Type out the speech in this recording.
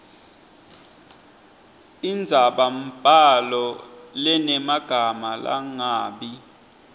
indzabambhalo lenemagama langabi